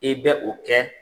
I bɛ o kɛ.